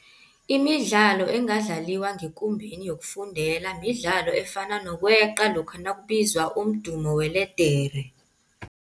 Imidlalo engadlaliwa ngekumbeni yokufundela midlalo efana nokweqa lokha nakubizwa umdumo weledere.